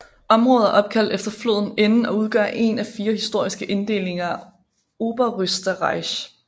Området er opkaldt efter floden Inn og udgør én af fire historiske inddelinger af Oberösterreich